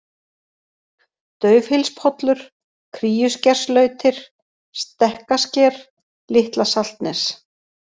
Daufhylspollur, Kríuskerslautir, Stekkasker, Litla-Saltnes